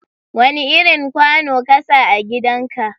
Wani irin kwano ka sa a gidan ka?